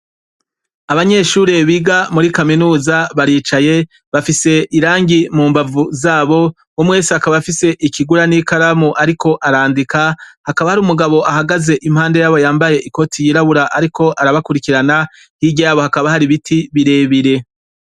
Abanyeshure biga muri kaminuza, baricaye bafise irangi mu mbavu zabo, umwe wese akaba afise ikigura n'ikaramu ariko arandika, hakaba hari umugabo ahagaze impande yabo yambaye ikoti y'irabura ariko arabakurikirana, hirya yabo hakaba hari ibiti birebire.